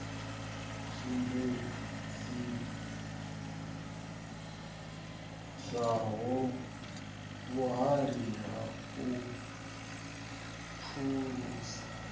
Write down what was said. sumbedzisaho vhuhali ha u phulusa